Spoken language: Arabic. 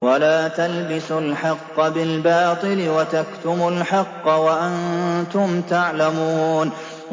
وَلَا تَلْبِسُوا الْحَقَّ بِالْبَاطِلِ وَتَكْتُمُوا الْحَقَّ وَأَنتُمْ تَعْلَمُونَ